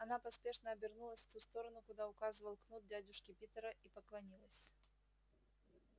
она поспешно обернулась в ту сторону куда указывал кнут дядюшки питера и поклонилась